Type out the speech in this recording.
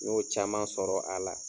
N y'o caman sɔrɔ a la.